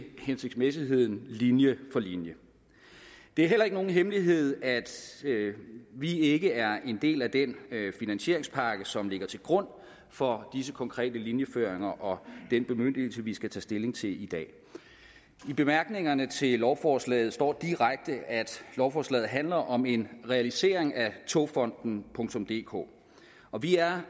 hensigtsmæssigheden linje for linje det er heller ikke nogen hemmelighed at vi ikke er en del af den finansieringspakke som ligger til grund for disse konkrete linjeføringer og den bemyndigelse vi skal tage stilling til i dag i bemærkningerne til lovforslaget står der direkte at lovforslaget handler om en realisering af togfonden dk og vi er